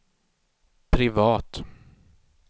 privat